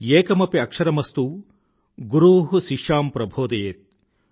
ఏకమపి అక్షరమస్తూ గురు శిష్యాం ప్రభోదయేత్